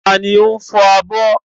Ta ni ó ń fọ abọ́?